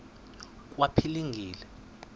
kwaphilingile